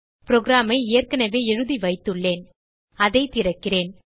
programஐ ஏற்கனவே எழுதி வைத்துள்ளேன் அதை திறக்கிறேன்